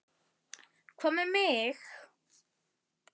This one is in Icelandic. Hvað með mig?